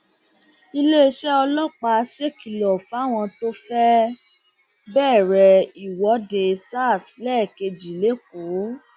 iléeṣẹ ọlọpàá ṣèkìlọ fáwọn tó fẹẹ bẹrẹ ìwọde sars lẹẹkejì lẹkọọ